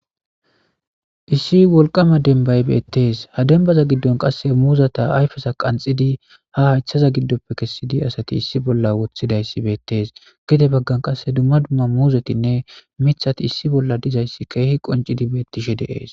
issi wolqama denbay beettees ha denbaza giddon qasse muuzata ayfesa qanxidi ha hayththaza giddoppe kessidi asati issi bolla wothidayssi beettees gede baggan qasse dumma dumma muuzetinne mithati issi bolla dizayssi keehi qoncidi beettishe deees